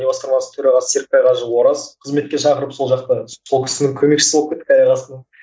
серікбай қажы ораз қызметке шақырып сол жақта сол кісінің көмекшісі болып кеттік аяқ астынан